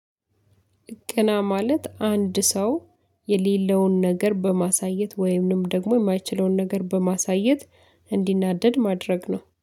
ቅና ማለት አንድ ሰው የሌለውን ነገር በማሳየት ወይም ደግሞ የማይችለውን ነገር በማሳየት እንዲናደድ ማድረግ ነው